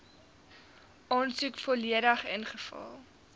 aansoek volledig ingevul